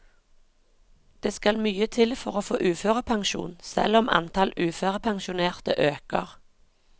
Det skal mye til for å få uførepensjon selv om antall uførepensjonerte øker.